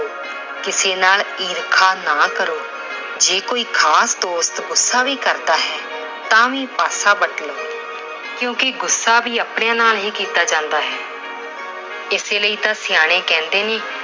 ਕਿਸੇ ਨਾਲ ਈਰਖਾ ਨਾ ਕਰੋ। ਜੇਕਰ ਕੋਈ ਖਾਸ ਦੋਸਤ ਗੁੱਸਾ ਵੀ ਕਰਦਾ ਹੈ ਤਾਂ ਵੀ ਪਾਸਾ ਵੱਟ ਲੋ ਕਿਉਂਕਿ ਗੁੱਸਾ ਵੀ ਆਪਣੇ ਨਾਲ ਹੀ ਕੀਤਾ ਜਾਂਦਾ ਹੈ। ਇਸ ਲਈ ਤਾਂ ਸਿਆਣੇ ਕਹਿੰਦੇ ਨੇ